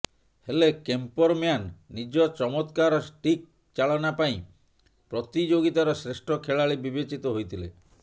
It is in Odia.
ହେଲେ କେମ୍ପରମ୍ୟାନ୍ ନିଜ ଚମତ୍କାର ଷ୍ଟିକ୍ ଚାଳନା ପାଇଁ ପ୍ରତିଯୋଗିତାର ଶ୍ରେଷ୍ଠ ଖେଳାଳି ବିବେଚିତ ହୋଇଥିଲେ